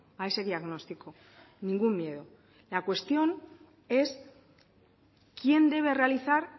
a ese diagnóstico ningún miedo la cuestión es quién debe realizar